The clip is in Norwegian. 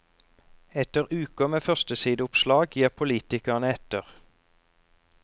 Etter uker med førstesideoppslag gir politikerne etter.